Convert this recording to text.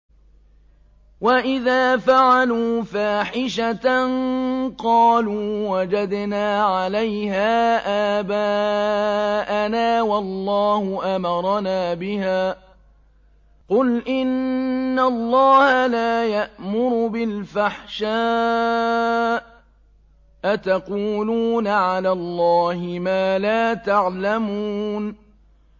وَإِذَا فَعَلُوا فَاحِشَةً قَالُوا وَجَدْنَا عَلَيْهَا آبَاءَنَا وَاللَّهُ أَمَرَنَا بِهَا ۗ قُلْ إِنَّ اللَّهَ لَا يَأْمُرُ بِالْفَحْشَاءِ ۖ أَتَقُولُونَ عَلَى اللَّهِ مَا لَا تَعْلَمُونَ